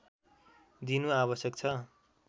दिनु आवश्यक छ